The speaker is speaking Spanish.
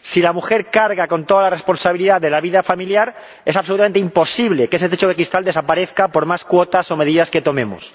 Si la mujer carga con toda la responsabilidad de la vida familiar, es absolutamente imposible que ese techo de cristal desaparezca por más cuotas o medidas que tomemos.